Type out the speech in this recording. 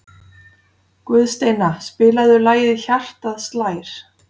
Guðsteina, spilaðu lagið „Hjartað slær“.